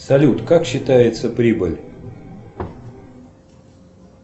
салют как считается прибыль